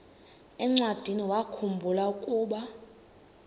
encwadiniwakhu mbula ukuba